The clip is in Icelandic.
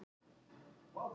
Lækjarbotnum